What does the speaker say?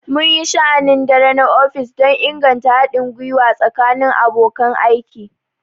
Mun yi sha'anin dare na ofis don inganta haɗin gwiwa tsakanin abokan aiki.